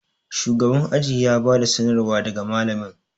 shugaban aji ya bada sanarwa daga malamin